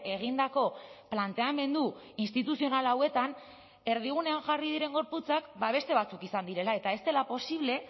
egindako planteamendu instituzional hauetan erdigunean jarri diren gorputzak beste batzuk izan direla eta ez dela posible